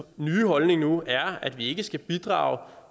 nye holdning nu er at vi ikke skal bidrage